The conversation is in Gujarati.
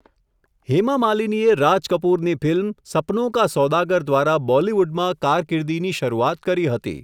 હેમા માલિનીએ રાજ કપૂરની ફિલ્મ, 'સપનોં કા સોદાગર' દ્વારા બોલીવૂડમાં કારકિર્દીની શરૂઆત કરી હતી.